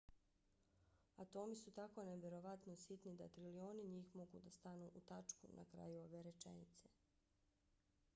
atomi su tako nevjerovatno sitni da trilioni njih mogu da stanu u tačku na kraju ove rečenice